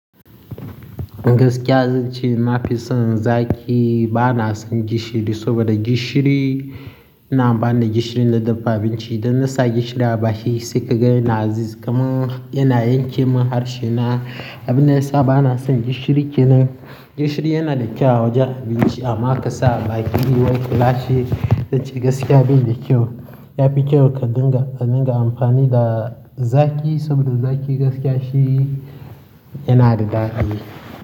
Gaskiya zan ce na fi son zaki, ba na son gishiri saboda gishiri, ina ba da gishiri na dafa abinci. Don na sa gishiri a baki sai ka ga yana azizi kuma yana yanke min harshe na. Abin da ya sa ba na son gishiri kenan gishiri yana da kyau a wajen abinci amma ka sa a baki wai kulashi. Zan ce gaskiya bai da kyau. Ya fi kyau ka dinga, ka dinga amfani da zaki saboda zaki gaskiya shi yana da dadi.